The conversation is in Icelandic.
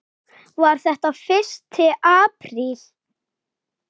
Var þetta fyrsti apríl?